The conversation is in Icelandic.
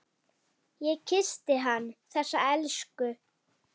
Ég kyssti hann, þessa elsku.